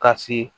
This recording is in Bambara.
Ka se